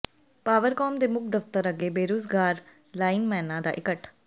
Powercom ਦੇ ਮੁੱਖ ਦਫ਼ਤਰ ਅੱਗੇ ਬੇਰੁਜ਼ਗਾਰ ਲਾਈਨਮੈਨਾਂ ਦਾ ਇਕੱਠ